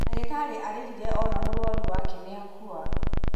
ndagītarī arīrire ona mūrwaru wake nīakua.